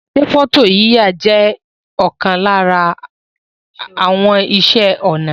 Se foto yiya je okan lara àwon ise onà